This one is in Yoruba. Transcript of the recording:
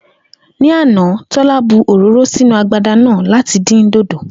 Ní àná, Tó̩lá bu òróró sínú agbada náà láti dín dòdò